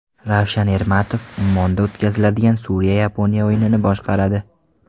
Ravshan Ermatov Ummonda o‘tkaziladigan Suriya Yaponiya o‘yinini boshqaradi.